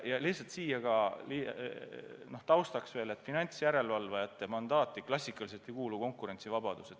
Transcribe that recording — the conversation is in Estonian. Lihtsalt siia taustaks veel nii palju, et finantsjärelevalvajate mandaati klassikaliselt ei kuulu konkurentsivabadus.